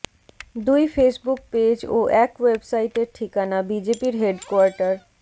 দুই Facebook page ও এক ওয়েবসাইটের ঠিকানা বিজেপির হেডকোয়ার্টার